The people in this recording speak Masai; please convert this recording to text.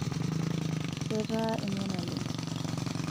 ketaa emion oleng